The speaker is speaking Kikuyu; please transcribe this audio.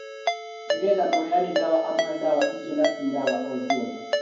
Nĩgetha mũheani ndawa amũhe ndawa icio na ti ndawa o ciothe